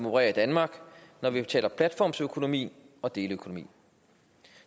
opererer i danmark når vi taler platformsøkonomi og deleøkonomi